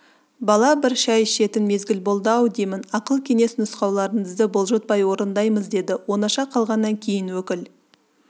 бала бір шай ішетін мезгіл болды-ау деймін ақыл-кеңес нұсқауларыңызды бұлжытпай орындаймыз деді оңаша қалғаннан кейін өкіл